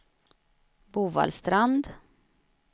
Bovallstrand